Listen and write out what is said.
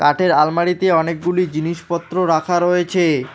কাঠের আলমারিতে অনেকগুলি জিনিসপত্র রাখা রয়েছে।